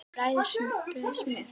Bræðið smjör.